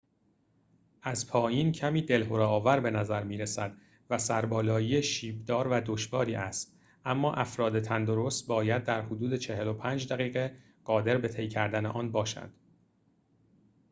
از پایین کمی دلهره آور به نظر می رسد و سربالایی شیب دار و دشواری است اما افراد تندرست باید در حدود ۴۵ دقیقه قادر به طی کردن آن باشند